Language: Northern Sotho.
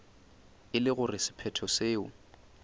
e le gore sephetho seo